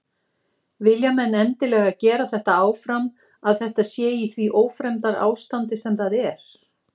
Vilja menn endilega gera þetta áfram að þetta sé í því ófremdarástandi sem það er?